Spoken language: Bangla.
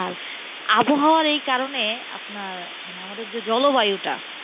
আর আবহাওয়ার এই কারণে আপনার মানে আমাদের যে জলবায়ুটা